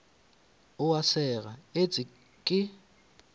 o a sega etse ke